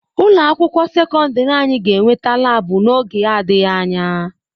Ụlọ akwụkwọ sekọndrị anyị ga-enweta laabu n'oge adịghị anya.